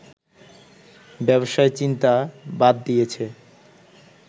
ব্যবসার চিন্তা বাদ দিয়েছে